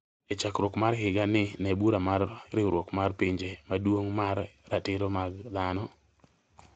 e chakruok mar higa ni ne bura mar Riwruok mar Pinje Maduong’ mar Ratiro mag Dhano